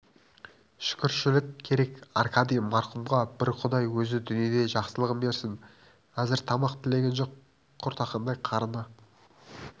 шүкіршілік керек аркадий марқұмға бір құдай өзі дүниеде жақсылығын берсін әзір тамақ тілеген жоқ құртақандай қарны